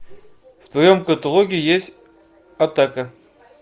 в твоем каталоге есть атака